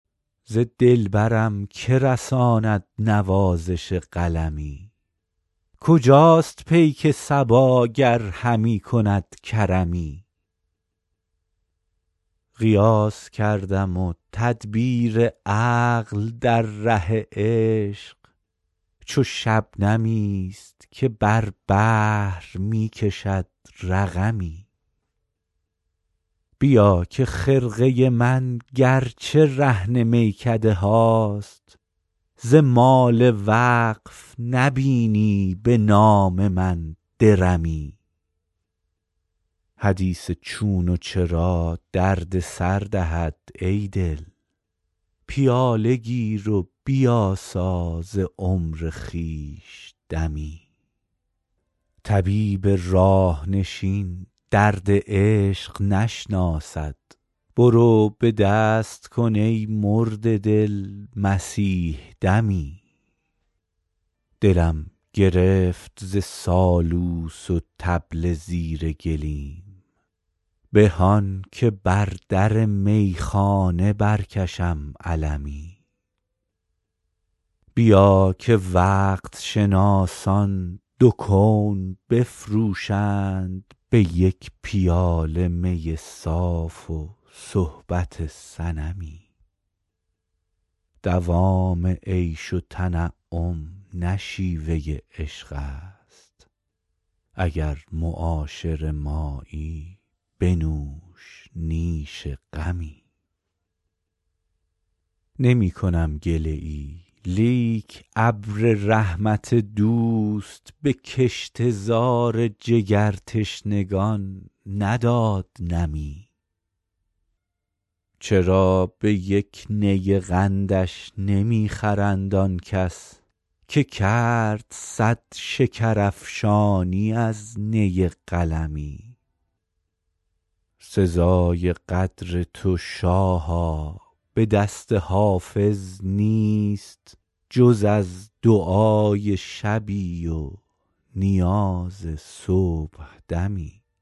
ز دلبرم که رساند نوازش قلمی کجاست پیک صبا گر همی کند کرمی قیاس کردم و تدبیر عقل در ره عشق چو شبنمی است که بر بحر می کشد رقمی بیا که خرقه من گر چه رهن میکده هاست ز مال وقف نبینی به نام من درمی حدیث چون و چرا درد سر دهد ای دل پیاله گیر و بیاسا ز عمر خویش دمی طبیب راه نشین درد عشق نشناسد برو به دست کن ای مرده دل مسیح دمی دلم گرفت ز سالوس و طبل زیر گلیم به آن که بر در میخانه برکشم علمی بیا که وقت شناسان دو کون بفروشند به یک پیاله می صاف و صحبت صنمی دوام عیش و تنعم نه شیوه عشق است اگر معاشر مایی بنوش نیش غمی نمی کنم گله ای لیک ابر رحمت دوست به کشته زار جگرتشنگان نداد نمی چرا به یک نی قندش نمی خرند آن کس که کرد صد شکرافشانی از نی قلمی سزای قدر تو شاها به دست حافظ نیست جز از دعای شبی و نیاز صبحدمی